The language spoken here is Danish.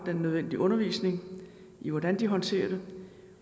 den nødvendige undervisning i hvordan de håndterer det